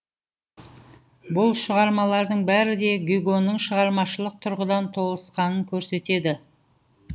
бұл шығармалардың бәрі де гюгоның шығармашылық тұрғыдан толысқанын көрсетеді